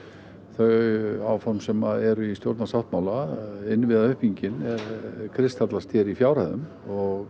þau áform sem eru í stjórnarsáttmála innviðauppbyggingin kristallast hér í fjárhæðum og